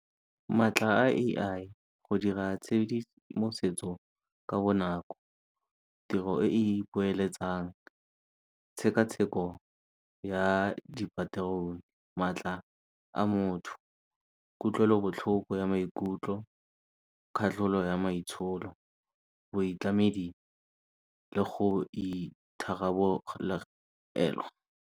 Maatla a A_I, go dira tshedimosetso ka bonako, tiro e e ipoeletsang, tshekatsheko ya , maatla a motho, kutlwelobotlhoko ya maikutlo, katlholo ya maitsholo, boitlamedi le go .